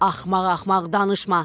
Axmaq-axmaq danışma.